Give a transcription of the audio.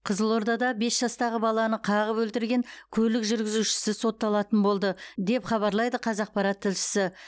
қызылордада бес жастағы баланы қағып өлтірген көлік жүргізушісі сотталатын болды деп хабарлайды қазақпарат тілшісі